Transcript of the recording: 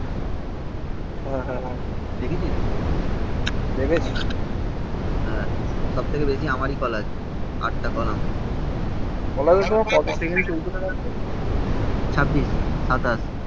হ্যাঁ, হ্যাঁ, হ্যাঁ. দেখেছিস? দেখেছিস. হ্যাঁ, সবথেকে বেশি আমারই কল আছে. আটটা কল আমার ছাব্বিশ সাতাশ